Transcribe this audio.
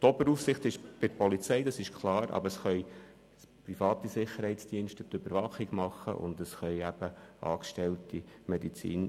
Die Oberaufsicht liegt klar bei der Polizei, jedoch können auch private Sicherheitsdienste für die Überwachung zuständig sein.